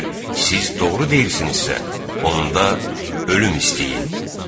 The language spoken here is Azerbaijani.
Və əgər siz doğru deyirsinizsə, onda ölüm istəyin.